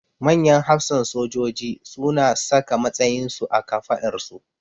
Manyan hafsan sojoji su na saka matsayin su a kafaɗarsu